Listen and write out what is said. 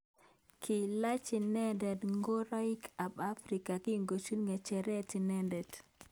Kilach inendet ngoroik ab Afrika kikochin ngecheret inendet.